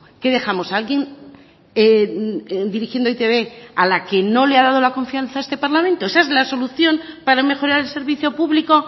qué dejamos a alguien dirigiendo e i te be a la que no le ha dado la confianza a este parlamento esa es la solución para mejorar el servicio público